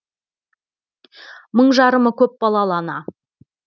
мың жарымы көп балалы ана